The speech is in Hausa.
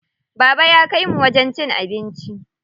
Baba ya kaimu wajen cin abinci.